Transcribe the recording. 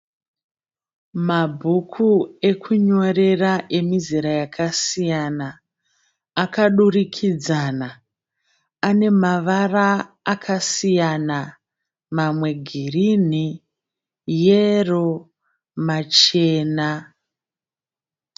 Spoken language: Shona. Mabhuku ekunyorera emizera yakasiyana akadurikidzana ane mavara akasiyana mamwe girini, yero machena.